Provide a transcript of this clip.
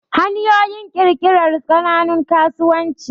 hanyoyin kirkirar kananun kasuwanci